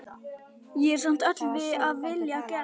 Ég er samt öll af vilja gerð.